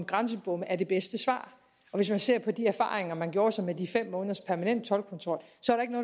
grænsebomme er det bedste svar hvis vi ser på de erfaringer man gjorde sig med de fem måneders permanent toldkontrol